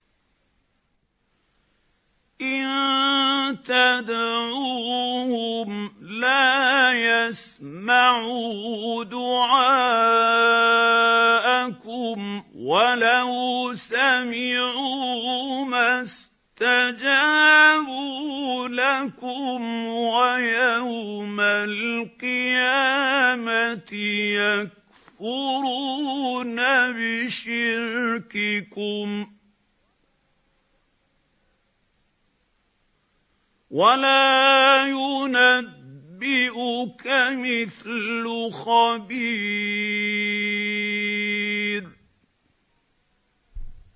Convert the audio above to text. إِن تَدْعُوهُمْ لَا يَسْمَعُوا دُعَاءَكُمْ وَلَوْ سَمِعُوا مَا اسْتَجَابُوا لَكُمْ ۖ وَيَوْمَ الْقِيَامَةِ يَكْفُرُونَ بِشِرْكِكُمْ ۚ وَلَا يُنَبِّئُكَ مِثْلُ خَبِيرٍ